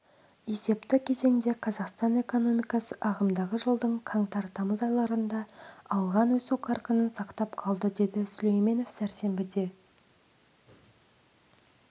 есепті кезеңде қазақстан экономикасы ағымдағы жылдың қаңтар-тамыз айларында алған өсу қарқынын сақтап қалды деді сүлейменов сейсенбіде